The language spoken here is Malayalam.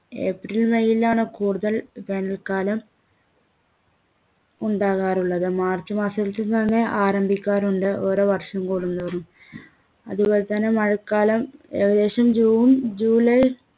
ഏപ്രിൽ മെയിലാണ് കൂടുതൽ വേനൽക്കാലം ഉണ്ടാകാറുള്ളത് മാർച്ച് മാസത്തിൽ തന്നെ ആരംഭിക്കാറുണ്ട് ഓരോ വർഷം കൂടുന്തോറും അതേപോലെ തന്നെ മഴക്കാലം ഏകദേശം ജൂൺ ജൂലൈ